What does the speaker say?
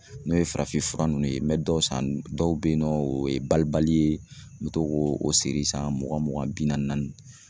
N'o ye farafin fura nunnu ye, n bɛ dɔw san, dɔw bɛ yen nɔ o ye balibali ye, n bɛ to k'o siri san mugan mugan bi naani naani.